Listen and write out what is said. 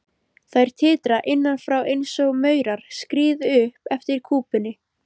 Þær titra innan frá einsog maurar skríði upp eftir kúpunni.